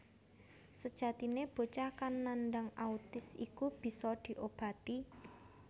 Sejatine bocah kang nandang autis iku bisa diobati